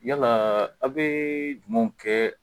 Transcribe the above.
Yalaa a' bee mun kɛ